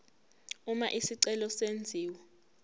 uma isicelo senziwa